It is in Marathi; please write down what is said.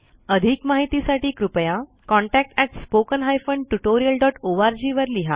अधिक माहितीसाठी कृपया या संकेतस्थळाला जाअधिक माहितीसाठी कृपया contactspoken tutorialorg वर लिहा